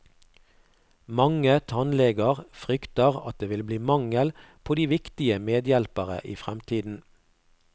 Mange tannleger frykter at det vil bli mangel på de viktige medhjelpere i fremtiden.